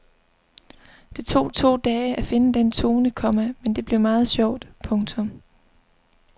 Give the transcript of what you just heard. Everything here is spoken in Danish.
Det tog to dage at finde den tone, komma men det blev meget sjovt. punktum